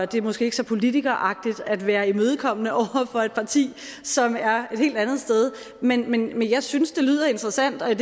det er måske ikke så politikeragtigt at være imødekommende over for et parti som er et helt andet sted men jeg synes det lyder interessant der